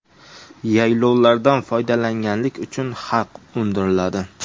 Yaylovlardan foydalanganlik uchun haq undiriladi.